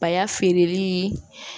Bay'a feereli